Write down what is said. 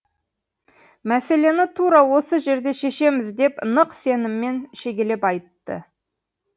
мәселені тура осы жерде шешеміз деп нық сеніммен шегелеп айтты